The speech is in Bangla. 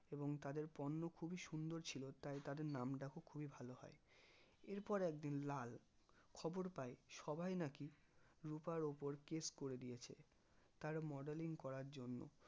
এবং তাদের পণ্য খুবই সুন্দর ছিল তাই তাদের নামডাকো খুবই ভালো হয় এরপর একদিন লাল খবর পাই সবাই নাকি রুপার ওপর case করে দিয়েছে তার modeling করার জন্য